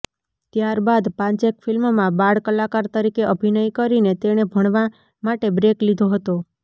ત્યારબાદ પાંચેક ફ્લ્મિમાં બાળ કલાકાર તરીકે અભિનય કરીને તેણે ભણવા માટે બ્રેક લીધો હતો